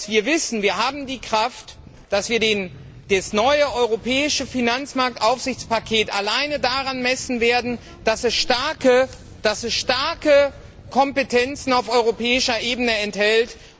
Wir wissen, wir haben die Kraft, dass wir das neue europäische Finanzmarktaufsichtspaket alleine daran messen werden, dass es starke Kompetenzen auf europäischer Ebene enthält.